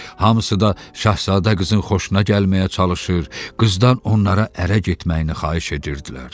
Hamısı da şahzadə qızın xoşuna gəlməyə çalışır, qızdan onlara ərə getməyini xahiş edirdilər.